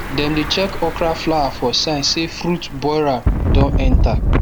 dem dey check okra flower for sign say fruit borer don enter